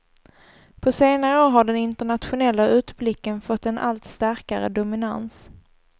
På senare år har den internationella utblicken fått en allt starkare dominans.